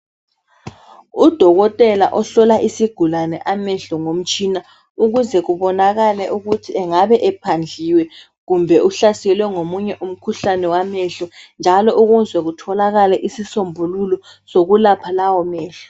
Udokothela ohlola isigulane amehlo ngomtshina ,ukuze kubonakale ukuthi engabe ephandliwe kumbe uhlaselwe ngomunye umkhuhlane wamehlo. Njalo ukuze kutholakale isisombululo sokulapha lawo mehlo.